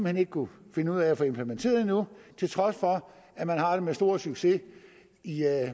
hen ikke kunnet finde ud af at få implementeret endnu til trods for at man har det med stor succes i